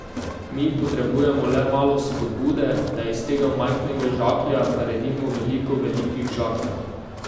Mi potrebujemo le malo vzpodbude, da iz tega majhnega žaklja naredimo veliko velikih žakljev.